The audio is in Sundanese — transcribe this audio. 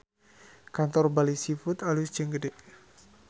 Kantor Bali Seafood alus jeung gede